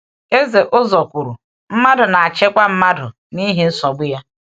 Eze Ụ́zọ́r kwuru: Mmadụ na-achịkwa mmadụ n’ihi nsogbu ya.